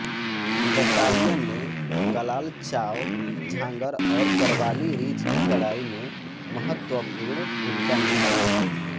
battalion ने कलाल चाव झांगर और बरवाली रिज की लड़ाई में महत्वपूर्ण भूमिका निभाई